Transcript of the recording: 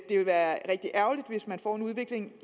det vil være rigtig ærgerligt hvis man får en udvikling